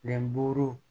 Ɛnburu